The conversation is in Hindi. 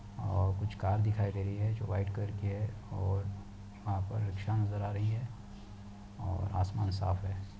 और कुछ कार दिखाई दे रही है जो व्हाइट कलर की है और वहाँ पर रिक्शा नज़र आ रही है और आसमान साफ है।